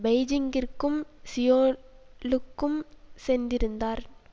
பெய்ஜிங்கிற்கும் சியோலுக்கும் சென்றிருந்தார்